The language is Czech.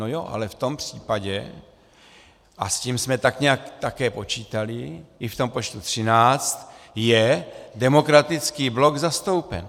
No jo, ale v tom případě - a s tím jsme tak nějak také počítali i v tom počtu 13 - je Demokratický blok zastoupen.